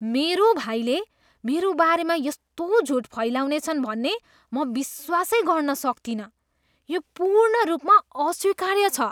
मेरो भाइले मेरो बारेमा यस्तो झुट फैलाउनेछन् भन्ने म विश्वासै गर्न सक्तिनँ। यो पूर्ण रूपमा अस्वीकार्य छ।